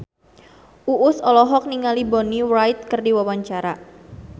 Uus olohok ningali Bonnie Wright keur diwawancara